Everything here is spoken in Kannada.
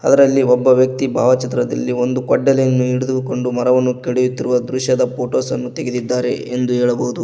ಅದರಲ್ಲಿ ಒಬ್ಬ ವ್ಯಕ್ತಿ ಭಾವಚಿತ್ರದಲ್ಲಿ ಒಂದು ಕೊಡ್ಡಲಿಯನ್ನು ಹಿಡಿದುಕೊಂಡು ಮರವನ್ನು ಕಡಿಯುತ್ತಿರುವ ದೃಶ್ಯದ ಫೋಟೋಸ್ ಅನ್ನು ತೆಗೆದಿದ್ದಾರೆ ಎಂದು ಹೇಳಬಹುದು.